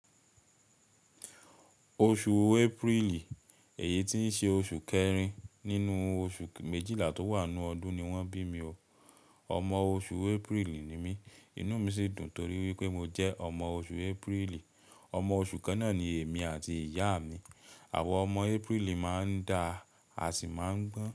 Oṣù Aprili, èyí tí ṣe oṣù kẹrin nínú oṣù méjìlá tó wà nínú ọdún ni wọ́n bí mi. Ọmọ oṣù Aprili ni mí, inú mi sì dùn torí wípé mo jẹ́ ọmọ oṣù Aprili. Ọmọ oṣù kànnà ni èmi àti ìyá mi. Àwa ọmọ Aprili máa ń da a sì máa ń gbọ́n.